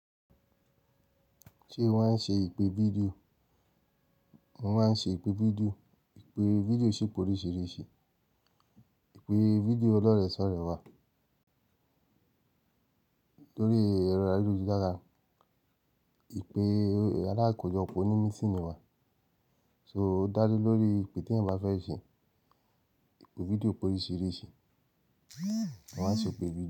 Ṣe o máa ń ṣe ìpè fídíò? Mo máa ń ṣe ìpè fídíò. Ìpè fídíò ṣì pé oríṣiríṣi. Ìpè fídíò ọlọ́rẹ́ṣọ́rẹ́ wà lórí ẹ̀rọ ayélujára, ìpè alákọ̀jọpọ nínú mitiini wa. So, o da le lori, eyi teeyan ba fe se. Ipe fídíò pé oríṣiríṣi. Maa n ṣe ipe fídíò.